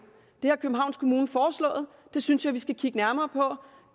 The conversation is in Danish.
det har københavns kommune foreslået det synes jeg vi skal kigge nærmere på